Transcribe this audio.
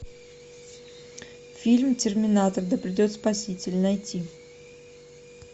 фильм терминатор да придет спаситель найти